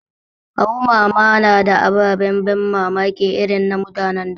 Awo mama na da ababen ban mamaki irin na mutan da